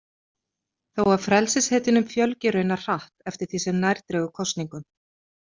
Þó að frelsishetjunum fjölgi raunar hratt eftir því sem nær dregur kosningum.